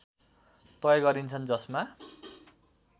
तय गरिन्छन् जसमा